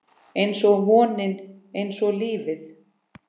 Einsog vonin, einsog lífið